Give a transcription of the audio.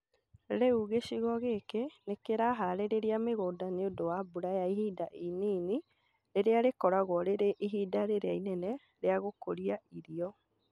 Rĩu gĩcigo gĩkĩ nĩ kĩraharĩria mígũnda nĩ ũndũ wa mbura ya ihinda inini rĩrĩa rĩkoragwo rĩrĩ ihinda rĩrĩa inene rĩa gũkũria irio